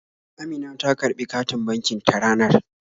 Amina ta karɓi katin bankin ta ranar